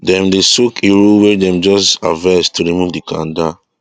dem dey soak iru wey dem just harvest to remove the kanda